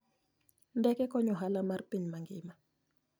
Ndeke konyo ohala mar piny mangima.